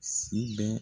Si bɛ